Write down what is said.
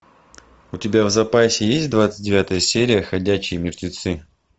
у тебя в запасе есть двадцать девятая серия ходячие мертвецы